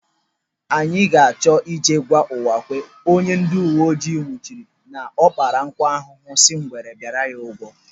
Anyị na-achọ ije gwa Uwakwe, onye ndị uwe ojii nwụchiri, na ọ kpara nkụ ahụhụ si ngwere bịa ya ụgwọ